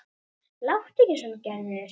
Láttu ekki svona Gerður.